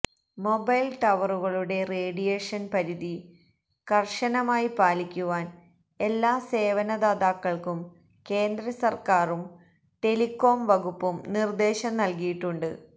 mobile ടവറുകളുടെ radiation പരിധി കര്ശമായി പാലിക്കുവാന് എല്ലാ സേവനദാതാക്കള്ക്കും കേന്ദ്രസര്ക്കാരും ടെലികോം വകുപ്പും നിര്ദേശം നല്കിയിട്ടുണ്ട്